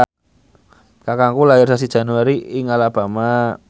kakangku lair sasi Januari ing Alabama